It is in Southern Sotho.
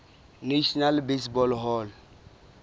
national baseball hall